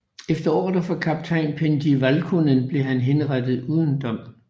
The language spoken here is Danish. Efter ordre fra kaptajn Pentti Valkonen blev han henrettet uden dom